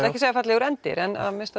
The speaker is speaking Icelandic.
ekki að segja fallegur endir en að minnsta